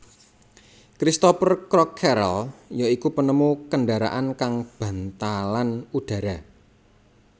Cristopher Crockerel ya iku penemu kendharaan kang bantalan udhara